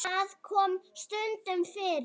Það kom stundum fyrir.